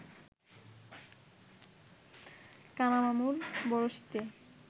কানা মামুর বড়শিতে